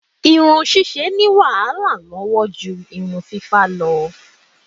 Irun ṣíṣe ní wàhálà lọ́wọ́ ju irun fífá lọ.